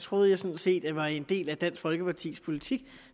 troede jeg sådan set var en del af dansk folkepartis politik